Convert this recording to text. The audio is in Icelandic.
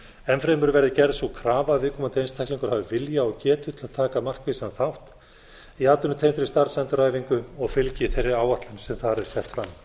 enn fremur verði gerð sú krafa að viðkomandi einstaklingur hafi vilja og getu til að taka markvissan þátt í atvinnutengdri starfsendurhæfingu og fylgi þeirri áætlun sem þar er sett fram